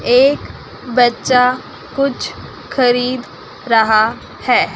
एक बच्चा कुछ खरीद रहा है।